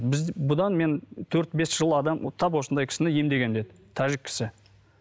біз бұдан мен төрт бес жыл адам тап осындай кісіні емдегенмін деді тәжік кісі